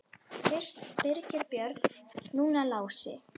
Fyrst Birgir Björn, núna Lási.